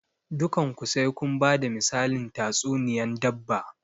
Dukan ku sai kun bada misalin tatsuniyan dabba!